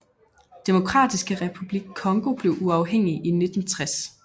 Demokratiske Republik Congo blev uafhængig i 1960